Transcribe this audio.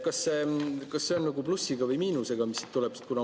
Kas see on plussiga või miinusega, mis siit tuleb?